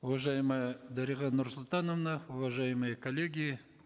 уважаемая дарига нурсултановна уважаемые коллеги